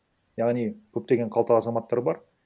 яғни көптеген қалталы азаматтар бар